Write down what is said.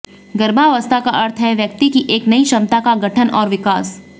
गर्भावस्था का अर्थ है व्यक्ति की एक नई क्षमता का गठन और विकास